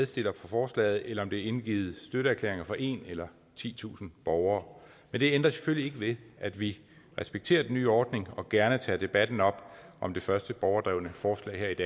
til forslaget eller er indgivet støtteerklæringer fra en eller titusinde borgere men det ændrer selvfølgelig ikke ved at vi respekterer den nye ordning og gerne tager debatten om om det første borgerdrevne forslag